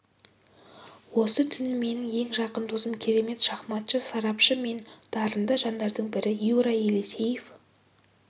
осы түні менің ең жақын досым керемет шахматшы сарапшы мен үшін дарынды жандардың бірі юра елисеев